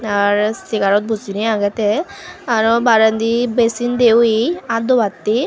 ar segarot bojinei agey te aro barendi business de oye aat dobatte.